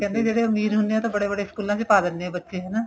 ਕਹਿੰਦੇ ਜਿਹੜੇ ਅਮੀਰ ਹੁੰਦੇ ਏ ਉਹ ਤਾਂ ਬੜੇ ਬੜੇ ਸਕੂਲਾ ਚ ਪਾ ਦਿੰਦੇ ਏ ਬੱਚੇ ਨੂੰ ਨਾ